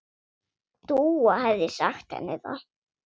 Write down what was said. Dúa hefði sagt henni það.